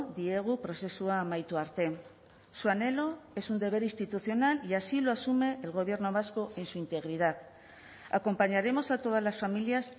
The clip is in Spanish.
diegu prozesua amaitu arte su anhelo es un deber institucional y así lo asume el gobierno vasco en su integridad acompañaremos a todas las familias